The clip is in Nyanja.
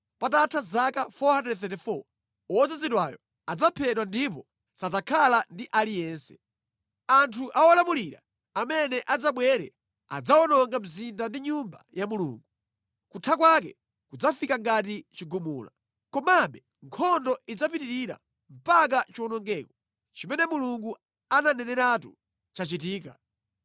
Patatha zaka 434, Wodzozedwayo adzaphedwa ndipo sadzakhala ndi aliyense. Anthu a wolamulira amene adzabwere adzawononga mzinda ndi Nyumba ya Mulungu. Kutha kwake kudzafika ngati chigumula. Komabe nkhondo idzapitirira mpaka chiwonongeko chimene Mulungu ananeneratu chitachitika.